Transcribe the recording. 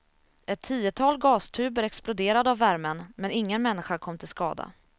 Ett tiotal gastuber exploderade av värmen, men ingen människa kom till skada.